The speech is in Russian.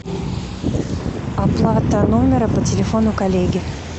оплата номера по телефону коллеги